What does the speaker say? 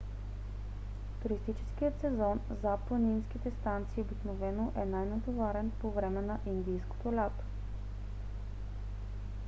туристическият сезон за планинските станции обикновено е най-натоварен по време на индийското лято